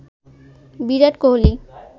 Virat Kohli